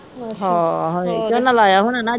ਹੋ ਹਾਏ ਝੋਨਾ ਲਾਇਆ ਹੋਣਾ ਨਾ ਅੱਜ